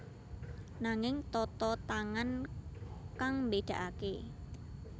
Nanging tata tangan kang mbédakaké